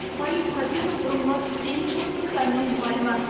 фаиль кабиров бұрынғы дене шынықтыру пәнінің мұғалімі